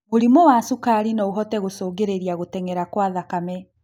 Mũrimũ wa cukari noũhote gũcũngĩrĩrĩa gũteng'era kwa thakame